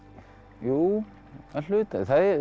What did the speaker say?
jú að hluta